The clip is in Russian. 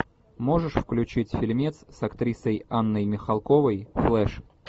можешь включить фильмец с актрисой анной михалковой флеш